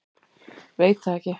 Veit það ekki.